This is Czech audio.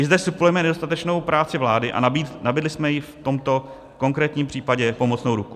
I zde suplujeme nedostatečnou práci vlády a nabídli jsme jí v tomto konkrétním případě pomocnou ruku.